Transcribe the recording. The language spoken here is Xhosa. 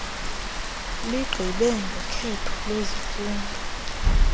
ligqibe ngokhetho lwezifundo